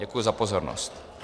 Děkuji za pozornost.